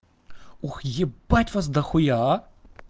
ух ебать вас до хуя